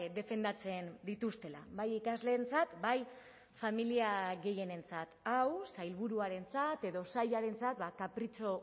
defendatzen dituztela bai ikasleentzat bai familia gehienentzat hau sailburuarentzat edo sailarentzat kapritxo